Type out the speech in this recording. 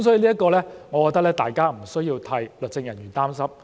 所以，就此，我認為大家不需要替律政人員擔心。